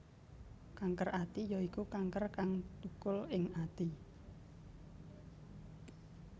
Kanker ati ya iku kanker kang thukul ing ati